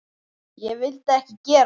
Ég vildi ekki gera það.